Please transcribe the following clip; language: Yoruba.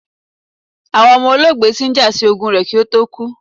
Awọn ọmọ olóògbé ti n ja si ogún rẹ̀ ki ó tó kú